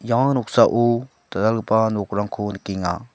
ia noksao dal·dalgipa nokrangko nikenga.